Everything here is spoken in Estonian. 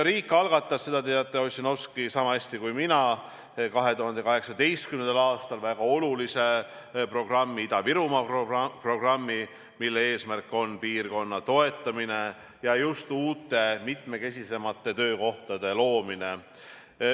Riik algatas – seda te teate, härra Ossinovski, niisama hästi kui mina – 2018. aastal väga olulise programmi, Ida-Virumaa programmi, mille eesmärk on piirkonna toetamine ja just uute, mitmekesisemate töökohtade loomine.